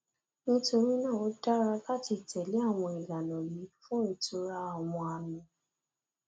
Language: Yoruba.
nítorí náà ó dára láti tẹlé àwọn ìlànà yìí fún ìtura àwọn àmì